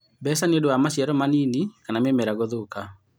mbeca nĩũdũ wa naciaro manini kana mĩmera gũthũka.